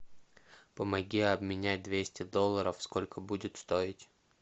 помоги обменять двести долларов сколько будет стоить